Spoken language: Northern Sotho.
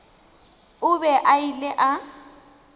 o be a ile a